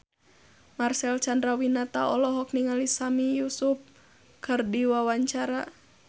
Marcel Chandrawinata olohok ningali Sami Yusuf keur diwawancara